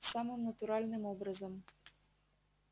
самым натуральным образом